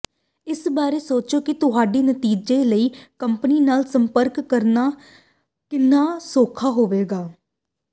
ਇਸ ਬਾਰੇ ਸੋਚੋ ਕਿ ਤੁਹਾਡੇ ਨਤੀਜੇ ਲਈ ਕੰਪਨੀ ਨਾਲ ਸੰਪਰਕ ਕਰਨਾ ਕਿੰਨਾ ਸੌਖਾ ਹੋਵੇਗਾ